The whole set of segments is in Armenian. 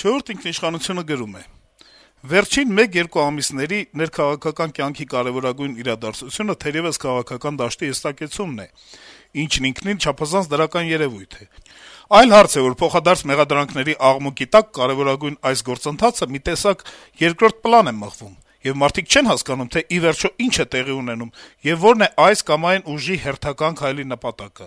«Չորրորդ ինքնիշխանություն»-ը գրում է. - «Վերջին մեկ-երկու ամիսների ներքաղաքական կյանքի կարեւորագույն իրադարձությունը թերեւս քաղաքական դաշտի հստակեցումն է, ինչն ինքնին չափազանց դրական երեւույթ է: Այլ հարց է, որ փոխադարձ մեղադրանքների աղմուկի տակ կարեւորագույն այս գործընթացը մի տեսակ երկրորդ պլան է մղվում, եւ մարդիկ չեն հասկանում, թե ի վերջո ի՞նչ է տեղի ունենում, եւ ո՞րն է այս կամ այն ուժի հերթական քայլի նպատակը: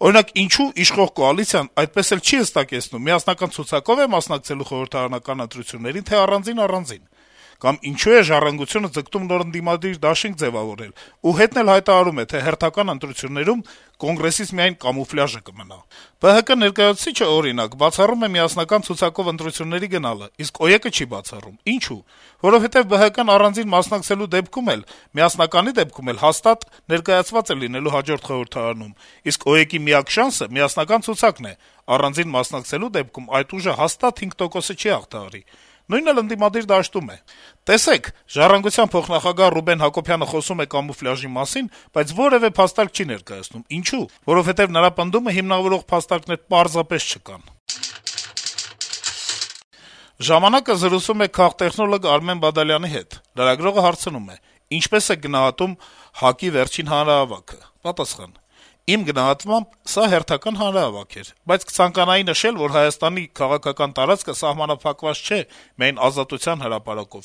Օրինակ` ինչո՞ւ իշխող կոալիցիան այդպես էլ չի հստակեցնում` միասնական ցուցակո՞վ է մասնակցելու խորհրդարանական ընտրություններին, թե՞ առանձին-առանձին, կամ ինչո՞ւ է «Ժառանգություն»-ը ձգտում նոր ընդդիմադիր դաշինք ձեւավորել ու հետն էլ հայտարարում է, թե հերթական ընտրություններում «Կոնգրեսից միայն կամուֆլյաժը կմնա»: «Բարգավաճ Հայաստան»-ի ներկայացուցիչը, օրինակ, բացառում է միասնական ցուցակով ընտրությունների գնալը, իսկ «Օրինաց երկիր»-ը չի բացառում: Ինչո՞ւ: Որովհետեւ «Բարգավաճ Հայաստան»-ը առանձին մասնակցելու դեպքում էլ, միասնականի դեպքում էլ հաստատ ներկայացված է լինելու հաջորդ խորհրդարանում, իսկ «Օրինաց երկիր»-ի միակ շանսը «միասնական ցուցակն» է` առանձին մասնակցելու դեպքում այդ ուժը հաստատ 5 տոկոսը չի հաղթահարի: Նույնն էլ ընդդիմադիր դաշտում է: Տեսեք` «Ժառանգության» փոխնախագահ Ռուբեն Հակոբյանը խոսում է «կամուֆլյաժի» մասին, բայց որեւէ փաստարկ չի ներկայացնում: Ինչո՞ւ: Որովհետեւ նրա պնդումը հիմնավորող փաստարկներ պարզապես չկան»: «Ժամանակ»-ը զրուցել է քաղտեխնոլոգ Արմեն Բադալյանի հետ: Լրագրողը հարցնում է. - «Ինչպե՞ս եք գնահատում ՀԱԿ-ի վերջին հանրահավաքը»: Բադալյանը պատասխանում է. - «Իմ գնահատմամբ` սա հերթական հանրահավաք էր: Բայց կցանկանայի նշել, որ Հայաստանի քաղաքական տարածքը սահմանափակված չէ միայն Ազատության հրապարակով,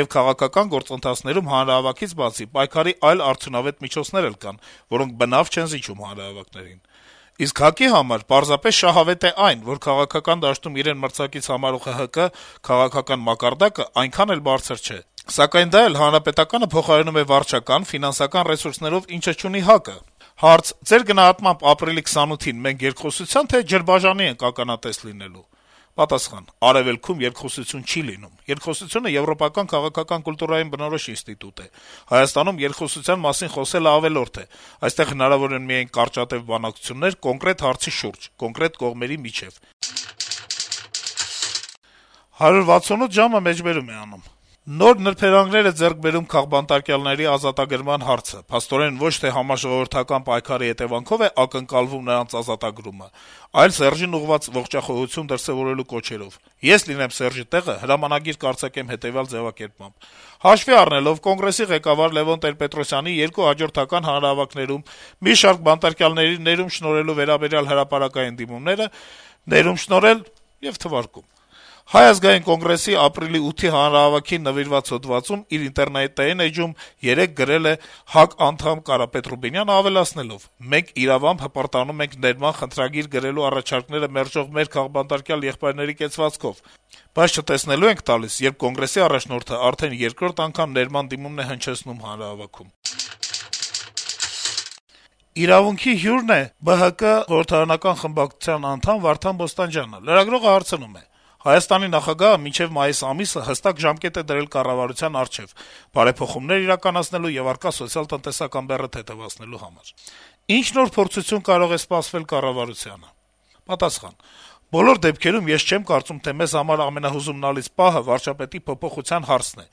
եւ քաղաքական գործընթացներում հանրահավաքից բացի, պայքարի այլ արդյունավետ միջոցներ էլ կան, որոնք բնավ չեն զիջում հանրահավաքներին: Իսկ ՀԱԿ-ի համար պարզապես շահավետ է այն, որ քաղաքական դաշտում իրեն մրցակից համարվող ՀՀԿ-ի քաղաքական մակարդակը այնքան էլ բարձր չէ, սակայն դա էլ ՀՀԿ-ն փոխարինում է վարչական, ֆինանսական ռեսուրսներով, ինչը չունի ՀԱԿ-ը»: Հարց. - «Ձեր գնահատմամբ, ապրիլի 28-ին մենք երկխոսությա՞ն, թե՞ ջրբաժանի ենք ականատես լինելու»: Պատասխան. - «Արեւելքում երկխոսություն չի լինում, երկխոսությունը եվրոպական քաղաքական կուլտուրային բնորոշ ինստիտուտ է: Հայաստանում երկխոսության մասին խոսելն ավելորդ է, այստեղ հնարավոր են միայն կարճատեւ բանակցություններ կոնկրետ հարցի շուրջ կոնկրետ կողմերի միջեւ»: «168 ժամ»-ը մեջբերում է անում. - «Նոր նրբերանգներ է ձեռք բերում քաղբանտարկյալների ազատագրման հարցը: Փաստորեն, ոչ թե համաժողովրդական պայքարի հետեւանքով է ակնկալվում նրանց ազատագրումը, այլ Սերժին ուղղված ողջախոհություն դրսեւորելու կոչերով: Ես լինեմ Սերժի տեղը, հրամանագիր կարձակեմ հետեւյալ ձեւակերպմամբ. «Հաշվի առնելով Կոնգրեսի ղեկավար Լեւոն Տեր-Պետրոսյանի երկու հաջորդական հանրահավաքներում մի շարք բանտարկյալների ներում շնորհելու վերաբերյալ հրապարակային դիմումները` ներում շնորհել... թվարկում», - Հայ Ազգային կոնգրեսի` ապրիլի 8-ի հանրահավաքին նվիրված հոդվածում իր ինտերնետային էջում երեկ գրել է ՀԱԿ անդամ Կարապետ Ռուբինյանը` ավելացնելով, - «Մենք իրավամբ հպարտանում ենք ներման խնդրագիր գրելու առաջարկները մերժող մեր քաղբանտարկյալ եղբայրների կեցվածքով, բայց չտեսնելու ենք տալիս, երբ Կոնգրեսի առաջնորդը արդեն երկրորդ ներման դիմումն է հնչեցնում հանրահավաքում»: «Իրավունք»-ի հյուրն է «Բարգավաճ Հայաստան» կուսակցության խորհրդարանական խմբակցության անդամ Վարդան Բոստանջյանը: Լրագրողը հարցնում է. - «Հայաստանի նախագահը մինչեւ մայիս ամիսը հստակ ժամկետ է դրել կառավարության առջեւ` բարեփոխումներ իրականացնելու եւ առկա սոցիալ-տնտեսական բեռը թեթեւացնելու համար: Ի՞նչ նոր փորձություն կարող է սպասվել կառավարությանը»: Պատասխան. - «Բոլոր դեպքերում, ես չեմ կարծում, թե մեզ համար ամենահուզումնալից պահը վարչապետի փոփոխության հարցն է: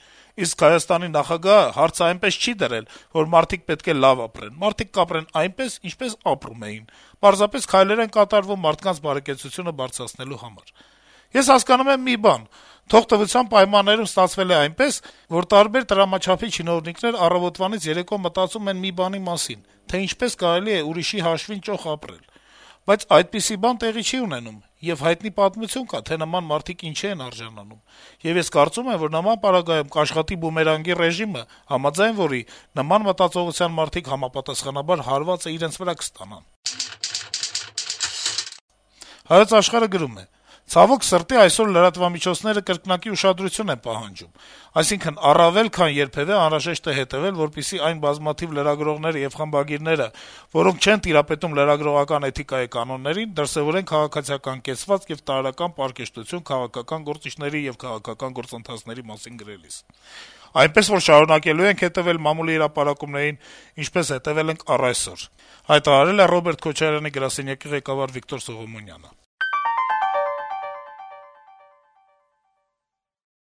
Իսկ Հայաստանի նախագահը հարցը այնպես չի դրել, որ մարդիկ պետք է լավ ապրեն: Մարդիկ կապրեն այնպես, ինչպես ապրում էին, պարզապես քայլեր են կատարվում մարդկանց բարեկեցությունը բարձրացնելու համար: Ես հասկանում եմ մի բան` թողտվության պայմաններում ստացվել է այնպես, որ տարբեր տրամաչափի չինովնիկներ առավոտվանից երեկո մտածում են մի բանի մասին`թե ինչպես կարելի է ուրիշի հաշվին ճոխ ապրել: Բայց այդպիսի բան տեղի չի ունենում, եւ հայտնի պատմություն կա, թե նման մարդիկ ինչի են արժանանում: Եվ ես կարծում եմ, որ նման պարագայում կաշխատի բումերանգի ռեժիմը, համաձայն որի նման մտածողությամբ մարդիկ համապատասխանաբար հարվածը իրենց վրա կստանան»: «Ցավոք սրտի, այսօր լրատվամիջոցները կրկնակի ուշադրություն են պահանջում։ Այսինքն` առավել քան երբեւէ անհրաժեշտ է հետեւել, որպեսզի այն բազմաթիվ լրագրողները եւ խմբագիրները, որոնք չեն տիրապետում լրագրողական էթիկայի կանոններին, դրսեւորեն քաղաքացիական կեցվածք եւ տարրական պարկեշտություն` քաղաքական գործիչների եւ քաղաքական գործընթացների մասին գրելիս։ Այնպես որ՝ շարունակելու ենք հետեւել մամուլի հրապարակումներին, ինչպես հետեւել ենք առ այսօր»,- «Հայոց Աշխարհ»-ի թղթակցին ասել է Ռոբերտ Քոչարյանի գրասենյակի ղեկավար Վիկտոր Սողոմոնյանը: